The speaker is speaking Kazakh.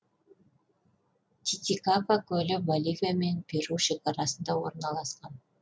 титикака көлі боливия мен перу шекарасында орналасқан